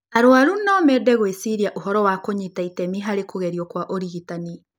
Arũaru no mended gwĩciria ũhoro wa kũnyita itemi harĩ kũgerio kwa ũrigitani.